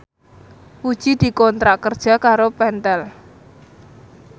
Puji dikontrak kerja karo Pentel